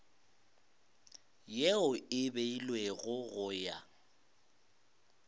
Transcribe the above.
yeo e beilwego go ya